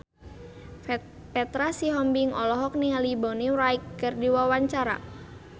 Petra Sihombing olohok ningali Bonnie Wright keur diwawancara